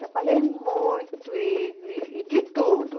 Trabalhei muito e e e de tudo.